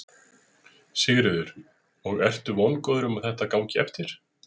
Sigríður: Og ertu vongóður um að þetta gangi eftir?